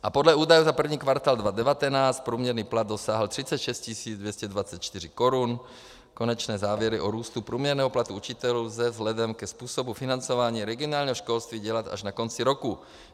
A podle údajů za první kvartál 2019 průměrný plat dosáhl 36 224 korun, konečné závěry o růstu průměrného platu učitelů lze vzhledem ke způsobu financování regionálního školství dělat až na konci roku.